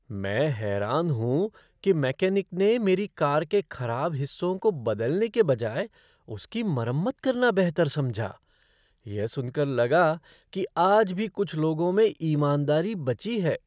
मैं हैरान हूँ कि मैकेनिक ने मेरी कार के खराब हिस्सों को बदलने के बजाय उसकी मरम्मत करना बेहतर समझा। यह सुनकर लगा कि आज भी कुछ लोगों में ईमानदारी बची है।